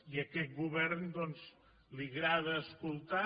i a aquest govern doncs li agrada escoltar